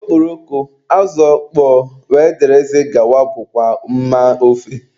Okporoko, azụ ọkpọọ wdg bụkwa mma ofe.